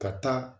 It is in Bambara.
Ka taa